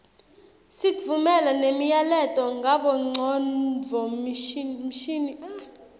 sitfumela nemiyaleto ngabongcondvomshini